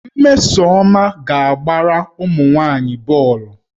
Mmesoma ga-agbara ụmụ nwaanyị bọọlụ